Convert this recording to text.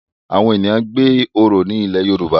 Awọn ènìyàn gbé oro ní ilẹ Yoruba